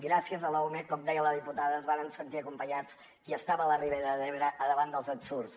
gràcies a l’ume com deia la diputada es varen sentir acompanyats qui estava a la ribera d’ebre al davant dels ensurts